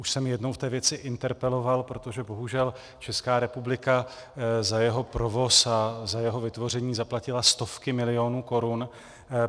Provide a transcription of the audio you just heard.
Už jsem jednou v té věci interpeloval, protože bohužel Česká republika za jeho provoz a za jeho vytvoření zaplatila stovky milionů korun.